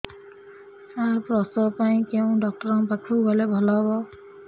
ସାର ପ୍ରସବ ପାଇଁ କେଉଁ ଡକ୍ଟର ଙ୍କ ପାଖକୁ ଗଲେ ଭଲ ହେବ